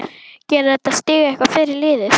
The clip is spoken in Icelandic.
Gerir þetta stig eitthvað fyrir liðið?